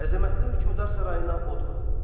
Əzəmətli hökmdar sarayına od vuruldu.